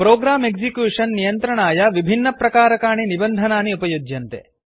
program execution नियन्त्रणाय विभिन्नप्रकारकाणि निबन्धनानि उपयुज्यन्ते